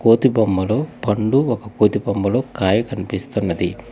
కోతి బొమ్మలో పండు ఒక కోతి బొమ్మలో కాయ కనిపిస్తున్నది.